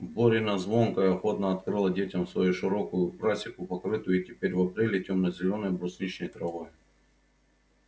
борина звонкая охотно открыла детям свою широкую просеку покрытую и теперь в апреле темно-зелёной брусничной травой